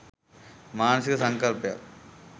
මානසික සංකල්පයක්.